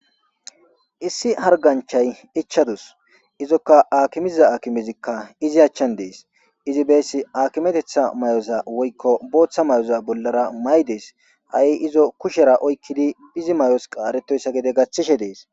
Issi hariganichchayi ichchadusi izokka akimiza akimezikka izzi achchanni desi izzi besi akimeteththa mayoza woyikko boththa mayoza bollara mayides .hayi izoo kushshera oyikkidi izzi mayos qaretoyissa gede gaththishshe desi.